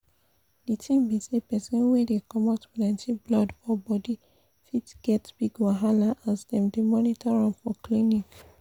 the tin be say persin wey dey comot plenty blood for body fit get big wahala as dem dey monitor am for clinics